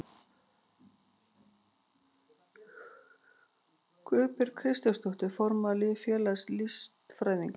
Guðbjörg Kristjánsdóttir, formaður félags listfræðinga.